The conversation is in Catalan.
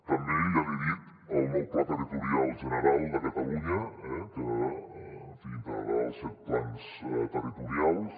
també ja l’hi he dit el nou pla territorial general de catalunya que integrarà els set plans territorials